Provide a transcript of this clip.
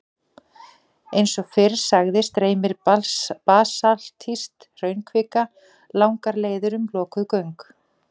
Eins og fyrr sagði streymir basaltísk hraunkvika langar leiðir um lokuð göng.